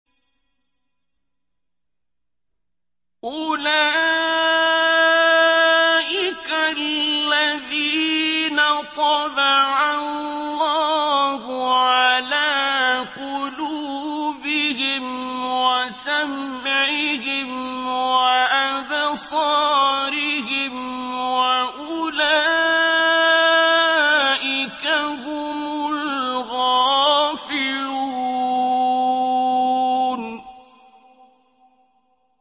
أُولَٰئِكَ الَّذِينَ طَبَعَ اللَّهُ عَلَىٰ قُلُوبِهِمْ وَسَمْعِهِمْ وَأَبْصَارِهِمْ ۖ وَأُولَٰئِكَ هُمُ الْغَافِلُونَ